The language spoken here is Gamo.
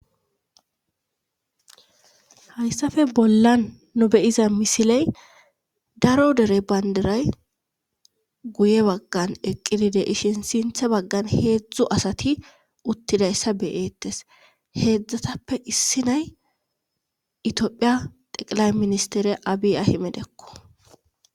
hayssafe bolla nobeyiza misiley daro dere baynderay guye baggan eqqidide ishen sinthe baggan heedzdzu asati uttidayssa beyeettes heedzdzatappe issi nay itoophiya teqilay ministere abi ahimedekko